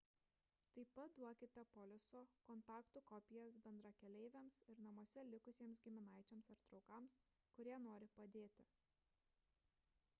taip pat duokite poliso / kontaktų kopijas bendrakeleiviams ir namuose likusiems giminaičiams ar draugams kurie nori padėti